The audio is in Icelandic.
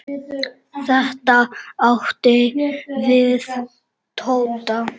Þetta átti við Tóta.